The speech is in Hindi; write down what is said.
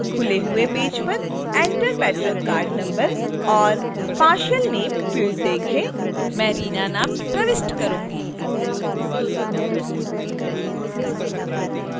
खुले हुए पेज पर enter patron card number or partial name field देखें